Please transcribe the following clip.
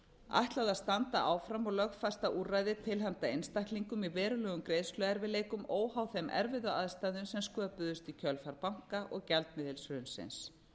ætlað að standa áfram og lögfesta úrræði til handa einstaklingum í verulegum greiðsluerfiðleikum óháð þeim erfiðu aðstæðum sem sköpuðust í kjölfar banka og gjaldmiðilshrunsins